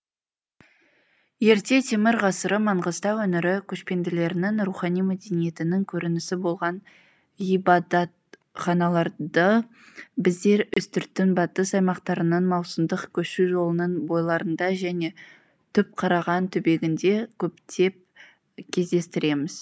ерте темір ғасыры маңғыстау өңірі көшпенділерінің рухани мәдениетінің көрінісі болған ғибадатханаларды біздер үстірттің батыс аймақтарының маусымдық көшу жолының бойларында және түпқараған түбегінде көптеп кездестіреміз